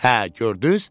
Hə, gördünüz?